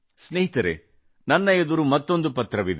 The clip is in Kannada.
ಸ್ನೇಹಿತರೇ ನನ್ನ ಎದುರು ಮತ್ತೊಂದು ಪತ್ರವಿದೆ